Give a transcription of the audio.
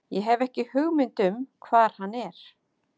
Ég hef ekki hugmynd um hvar hann er.